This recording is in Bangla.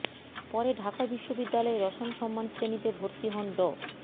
পরে ঢাকা বিশ্ববিদ্যালয়ে রসায়ন সম্মান শ্রেণীতে ভর্তি হন ড